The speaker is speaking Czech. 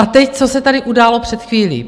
A teď, co se tady událo před chvílí.